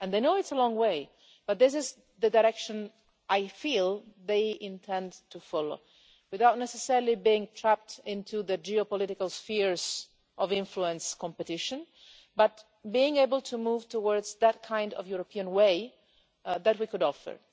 They know it's a long way, but this is the direction I feel they intend to follow, without necessarily being trapped into the geo-political spheres of influence competition, but being able to move towards that kind of European way that we could offer.